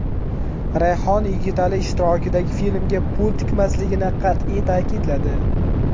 Rayhon Yigitali ishtirokidagi filmga pul tikmasligini qat’iy ta’kidladi.